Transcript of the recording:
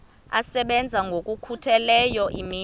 asebenza ngokokhutheleyo imini